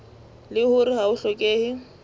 leng hore ha ho hlokehe